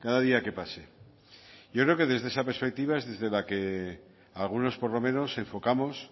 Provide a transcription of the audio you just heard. cada día que pase yo creo que desde esa perspectiva es desde la que algunos por lo menos enfocamos